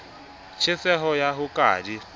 tjheseho ya ho ka di